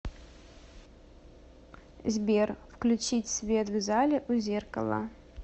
сбер включить свет в зале у зеркала